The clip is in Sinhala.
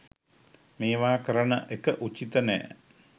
මේවා කරන එක උචිත නැහැ.